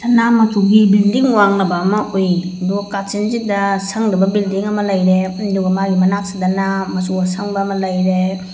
ꯁꯅꯥ ꯃꯆꯨꯒꯤ ꯕꯤꯜꯗꯤꯡ ꯋꯥꯡꯂꯕ ꯑꯃ ꯎꯏ ꯑꯗꯨꯒ ꯀꯥꯆꯤꯟꯁꯤꯗ ꯁꯡꯗꯕ ꯕꯤꯜꯗꯤꯡ ꯑꯃ ꯂꯩꯔꯦ ꯑꯗꯨꯒ ꯃꯥꯒꯤ ꯃꯅꯛꯁꯤꯗꯅ ꯃꯆꯨ ꯑꯁꯪꯕ ꯑꯃ ꯂꯩꯔꯦ꯫